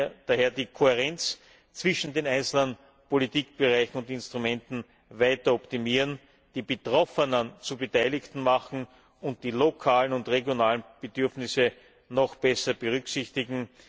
Wir müssen daher die Kohärenz zwischen den einzelnen Politikbereichen und Instrumenten weiter optimieren, die Betroffenen zu Beteiligten machen und die lokalen und regionalen Bedürfnisse noch besser berücksichtigen.